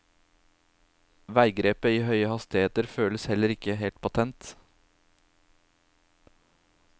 Veigrepet i høye hastigheter føles heller ikke helt patent.